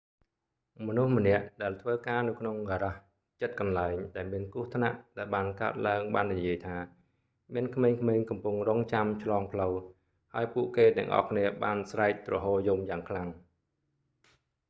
មនុស្សម្នាក់ ដែលធ្វើការនៅក្នុងហ្គារ៉ាសជិតកន្លែង ដែលមានគ្រោះថ្នាក់ដែលបានកើតឡើងបាននិយាយថា មានក្មេងៗកំពុងរង់ចាំឆ្លងផ្លូវ ហើយពួកគេទាំងអស់គ្នាបានស្រែកទ្រហោរយំយ៉ាងខ្លាំង